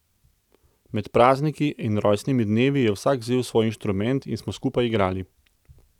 Med prazniki in rojstnimi dnevi je vsak vzel svoj inštrument in smo skupaj igrali.